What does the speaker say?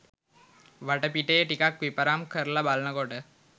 වටපිටේ ටිකක් විපරම් කරල බලනකොට